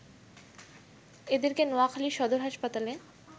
এদেরকে নোয়াখালি সদর হাসপাতালে